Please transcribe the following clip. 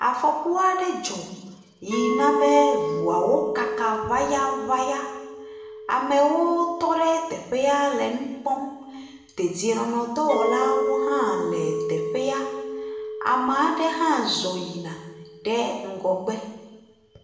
Afɔku aɖe dzɔ yi na be eŋuawo kaka ŋayaŋaya. Amewo tɔ ɖe teƒea le nu kpɔm. Dedienɔnɔdɔwɔlawo hã le teƒea. Ama ɖe hã zɔ yina ɖe ŋgɔgbe.